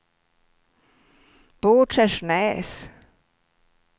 Båtskärsnäs